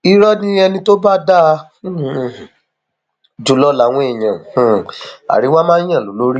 irọ ni ẹni tó bá dáa um jù lọ làwọn èèyàn um àríwá máa yan lólórí